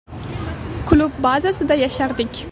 Klub bazasida yashardik.